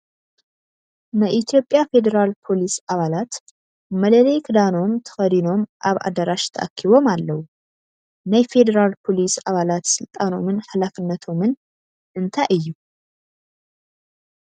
ናይ ኢትዮጵያ ፌደራል ፖሊስ ኣባላት መለለዪ ክዳኖም ተኸዲኖም ኣብ ኣዳራሽ ተኣኪቦም ኣለው፡፡ ናይ ሬደራል ፖሊስ ኣባላት ስልጣኖምን ሓላፍነቶምን እንታይ እዩ?